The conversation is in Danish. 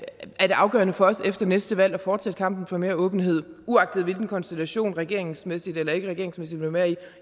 er det afgørende for os efter næste valg at fortsætte kampen for mere åbenhed uagtet hvilken konstellation vi regeringsmæssigt eller ikkeregeringsmæssigt vil være i